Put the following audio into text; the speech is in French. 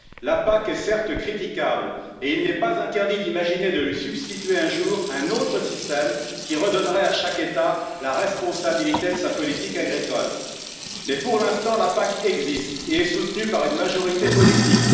La PAC est certes critiquable, et il n'est pas interdit d'imaginer de lui substituer un jour un autre système qui redonnerait à chaque État la responsabilité de sa politique agricole, mais pour l'instant, la PAC existe et est soutenue par une majorité politique.